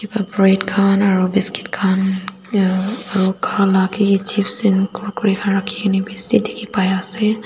bread khan aru biscuit khan ya aru khoa laga khe hi chips in kurkure khan rakhi ke ni bishi dikhi pai ase.